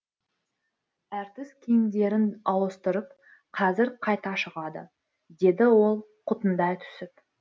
әртіс киімдерін ауыстырып қазір қайта шығады деді ол қутыңдай түсіп